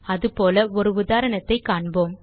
அதுபோல ஒரு உதாரணத்தைக் காண்போம்